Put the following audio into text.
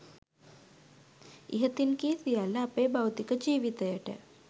ඉහතින් කී සියල්ල අපේ භෞතික ජීවිතයට